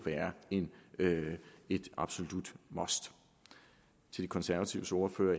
være et absolut must til de konservatives ordfører